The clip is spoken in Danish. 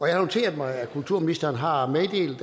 jeg har noteret mig at kulturministeren har meddelt